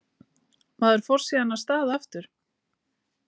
Maður fór síðan af stað aftur.